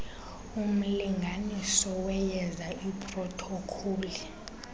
umlinganiso weyeza iprothokholi